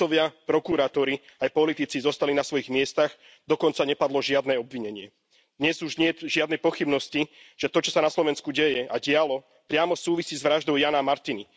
Sudcovia, prokuratúry aj politici zostali na svojich miestach, dokonca nepadlo žiadne obvinenie. Dnes už niet žiadnej pochybnosti, že to, čo sa na Slovensku deje a dialo, priamo súvisí s vraždou Jána a Martiny.